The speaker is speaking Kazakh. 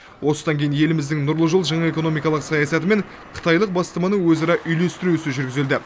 осыдан кейін еліміздің нұрлы жол жаңа экономикалық саясаты мен қытайлық бастаманы өзара үйлестіру ісі жүргізілді